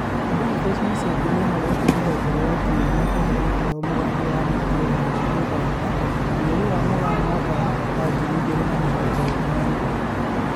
Boniface Musembi nĩahoete rũhonge rwa ũtũĩria kũhe gĩtĩo mũgambo wa mũingĩ wa Uganda, mweri wa Mũgaa mwaka wa ngiri igĩrĩ na mĩrongo ĩrĩ na ĩmwe